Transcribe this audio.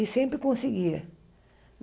E sempre conseguia.